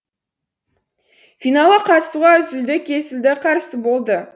финалға қатысуға үзілді кесілді қарсы болды